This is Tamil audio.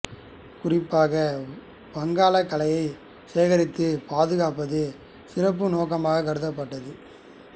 குறிப்பாக வங்கக் கலைகளை சேகரித்து பாதுகாப்பது சிறப்பு நோக்கமாகக் கருதப்பட்டது